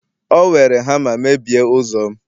o were hama mebie ụzọ'm